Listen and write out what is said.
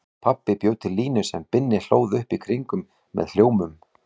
Pabbi bjó til línu sem Binni hlóð upp í kringum með hljómum.